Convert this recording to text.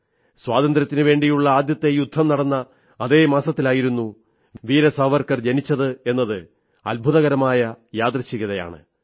സ്വാതന്ത്ര്യത്തിനുവേണ്ടിയുള്ള ആദ്യത്തെ യുദ്ധം നടന്ന അതേ മാസത്തിലായിരുന്ന വീരസാവർക്കർ ജനിച്ചത് എന്നത് അദ്ഭുതകരമായ യാദൃച്ഛികതയാണ്